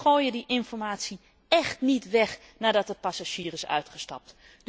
Die gooien die informatie echt niet weg nadat de passagier is uitgestapt.